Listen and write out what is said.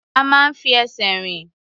A máa ń fi ẹsẹ̀ rìn.